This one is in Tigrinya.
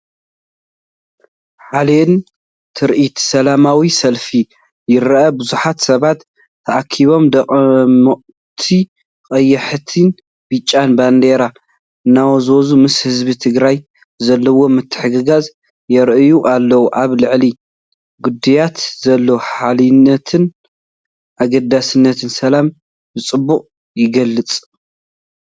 ሓያልን ትርኢት ሰላማዊ ሰልፊ ይረአ፣ ብዙሓት ሰባት ተኣኪቦም ድሙቓት ቀያሕትን ብጫን ባንዴራታት እናወዛወዙ ምስ ህዝቢ ትግራይ ዘለዎም ምትሕግጋዝ ይርእዩ ኣለው። ኣብ ልዕሊ ግዳያት ዘሎ ሓልዮትን ኣገዳስነት ሰላምን ብጽቡቕ ይገልጽ!